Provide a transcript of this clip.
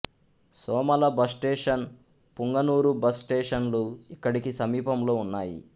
Somala bus station Punganur bus స్టేషనులు ఇక్కడికి సమీపములో ఉన్నాయి